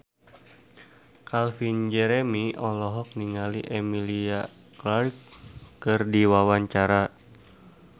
Calvin Jeremy olohok ningali Emilia Clarke keur diwawancara